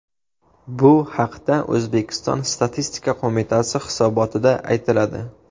Bu haqda O‘zbekiston Statistika qo‘mitasi hisobotida aytiladi .